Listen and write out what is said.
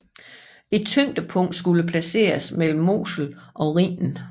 Et tyngdepunkt skulle placeres mellem Mosel og Rhinen